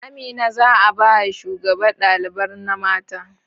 Amina za'a baya shugaban ɗalibar na mata